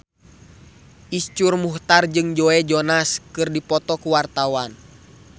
Iszur Muchtar jeung Joe Jonas keur dipoto ku wartawan